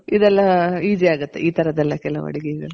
ಇದೆಲ್ಲ ಈಸಿ ಆಗುತ್ತೆ ಈ ತರದ್ದು ಎಲ್ಲಾ ಕೆಲವು ಅಡ್ಗೆಗಳು.